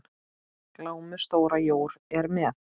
Glámu stóra jór er með.